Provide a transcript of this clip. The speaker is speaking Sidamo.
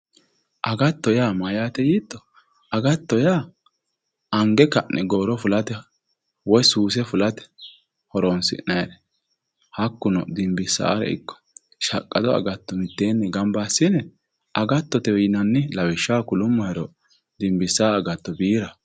agatto yaa mayyaate yiitto, agatto yaa ange ka'ne gooro fulate woy suuse fulate horonsi'nayiire hakkuno dinbisaare ikko shaqqado agatto mitteenni gamba assine agattotewe yinanni, lawishshaho kulummohero dinbisaawo agatto biiraho.